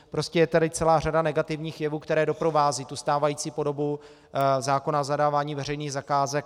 Prostě je tady celá řada negativních jevů, které doprovázejí tu stávající podobu zákona o zadávání veřejných zakázek.